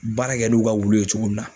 Baara kɛ n'u ka wulu ye cogo min na